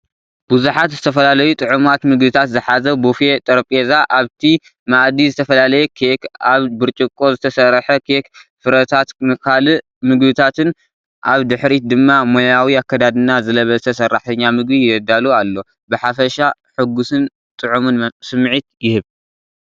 ብዙሓት ዝተፈላለዩ ጥዑማት ምግብታት ዝሓዘ ቡፌ ጠረጴዛ ፣ ኣብቲ መኣዲ ዝተፈላለየ ኬክ ኣብ ብርጭቆ ዝተሰርሐ ኬክ ፍረታትን ካልእ ምግብታትን፣ ኣብ ድሕሪት ድማ ሞያዊ ኣከዳድና ዝለበሰ ሰራሕተኛ ምግቢ የዳሉ ኣሎ። ብሓፈሻ ሕጉስን ጥዑምን ስምዒት ይህብ።